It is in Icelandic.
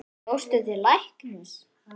Fórstu til læknis?